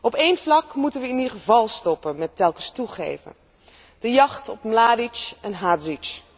Op één vlak moeten we in ieder geval stoppen met telkens toegeven de jacht op Mladić en Hadžić.